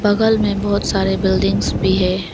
बगल में बहुत सारे बिल्डिंग्स भी है।